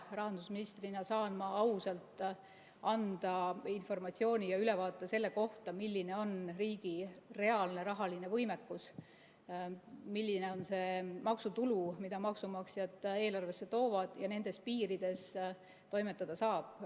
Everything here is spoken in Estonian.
Rahandusministrina saan ma ausalt anda informatsiooni ja ülevaadet selle kohta, milline on riigi reaalne rahaline võimekus, milline on see maksutulu, mida maksumaksjad eelarvesse toovad ja mille piirides toimetada saab.